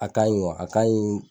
A ka ɲi wa a ka ɲi